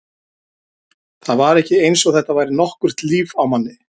Það var ekki eins og þetta væri nokkurt líf á manni.